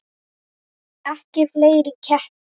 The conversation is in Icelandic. Ekki fleiri ketti.